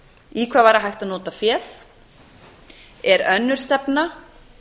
í hvað væri hægt að nota féð er önnur stefna